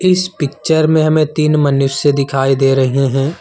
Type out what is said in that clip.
इस पिक्चर में हमें तीन मनुष्य दिखाई दे रहे हैं।